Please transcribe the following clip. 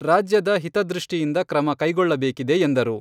ರಾಜ್ಯದ ಹಿತದೃಷ್ಟಿದಿಂದ ಕ್ರಮ ಕೈಗೊಳ್ಳಬೇಕಿದೆ ಎಂದರು.